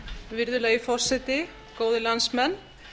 virðulegi forseti góðir landsmenn